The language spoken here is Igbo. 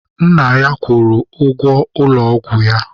Nna ya kwụrụ ụgwọ ụlọ ọgwụ ya.